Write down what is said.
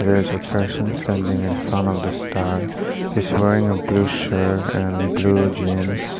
there's a person standing in front of the star he's wearing a blue shirt and blue jeans.